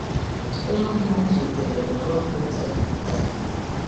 Onye ọ bụla m zutere nwere obi ụtọ ịnata ya.